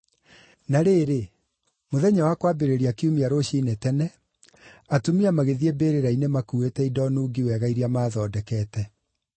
Na rĩrĩ, mũthenya wa kwambĩrĩria kiumia, rũciinĩ tene, atumia magĩthiĩ mbĩrĩra-inĩ makuuĩte indo nungi wega iria maathondekete.